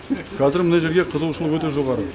қазір мына жерге қызығушылық өте жоғары